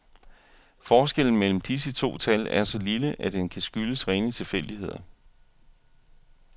Forskellen mellem disse to tal er så lille, at den kan skyldes rene tilfældigheder.